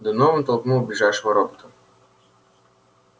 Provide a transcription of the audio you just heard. донован толкнул ближайшего робота